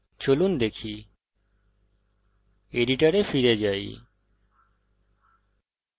চলুন দেখা যাক এডিটরে ফিরে যাই